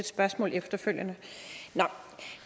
spørgsmål efterfølgende